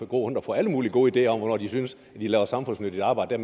gå rundt og få alle mulige gode ideer om hvornår de synes at de laver samfundsnyttigt arbejde